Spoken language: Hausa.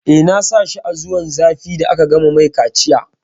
Eh, na sa shi a zuwan zafi da aka gama mai kaciya